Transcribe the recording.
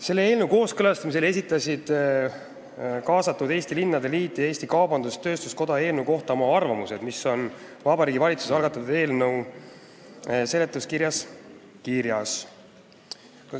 Selle eelnõu kooskõlastamisel esitasid kaasatud Eesti Linnade Liit ja Eesti Kaubandus-Tööstuskoda eelnõu kohta oma arvamused, mis on ära toodud Vabariigi Valitsuse algatatud eelnõu seletuskirja lisas.